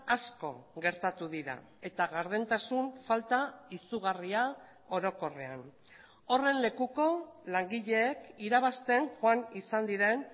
asko gertatu dira eta gardentasun falta izugarria orokorrean horren lekuko langileek irabazten joan izan diren